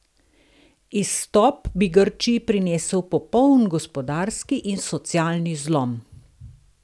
Izstop bi Grčiji prinesel popoln gospodarski in socialni zlom.